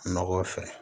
Nɔgɔ fɛ